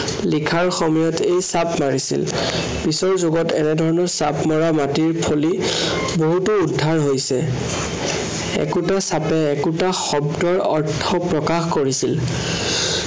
লিখাৰ সময়ত এই চাপ মাৰিছিল। পিছৰ যুগত এনেধৰণৰ চাপ মৰা মাটিৰ ফলি বহুতো উদ্ধাৰ হৈছে। একোটা চাপে একোটা শব্দৰ অৰ্থ প্ৰকাশ কৰিছিল।